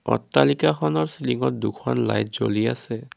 অট্টালিকাখনৰ চিলিংত দুখন লাইট জ্বলি আছে।